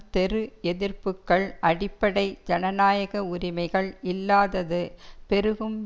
தெரு எதிர்ப்புக்கள் அடிப்படை ஜனநாயக உரிமைகள் இல்லாதது பெருகும்